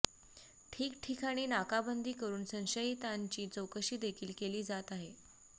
ठिकठिकाणी नाकाबंदी करून संशयितांची चौकशी देखील केली जात आहे